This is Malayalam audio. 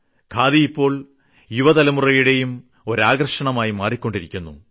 ഖാദി ഇപ്പോൾ യുവതലമുറയുടെയും ഒരു ആകർഷണമായി മാറിക്കൊണ്ടിരിക്കുന്നു